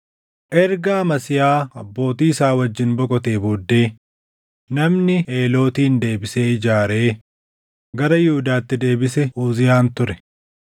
Erga Amasiyaa abbootii isaa wajjin boqotee booddee namni Eelootin deebisee ijaaree gara Yihuudaatti deebisee Uziyaan ture.